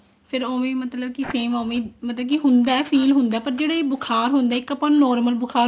ਫ਼ੇਰ ਉਵੀੰ ਮਤਲਬ ਕੇ ਹੁੰਦਾ same ਹੁੰਦਾ ਪਰ ਜਿਹੜਾ ਬੁਖਾਰ ਹੁੰਦਾ ਇੱਕ ਆਪਾਂ ਨੂੰ normal ਬੁਖਾਰ